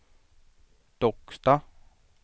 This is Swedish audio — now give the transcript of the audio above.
Docksta